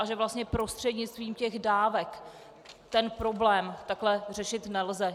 A že vlastně prostřednictvím těch dávek ten problém takhle řešit nelze.